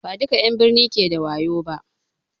Ba duƙa 'yan n birni ke da wayo ba